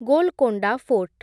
Golconda fort